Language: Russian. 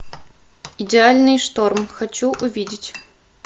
идеальный шторм хочу увидеть